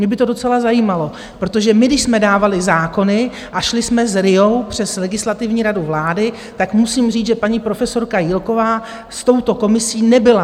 Mě by to docela zajímalo, protože my když jsme dávali zákony a šli jsme s RIA přes Legislativní radu vlády, tak musím říct, že paní profesorka Jílková s touto komisí nebyla.